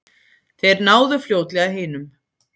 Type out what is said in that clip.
Þeir náðu fljótlega hinum.